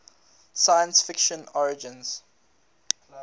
science fiction origins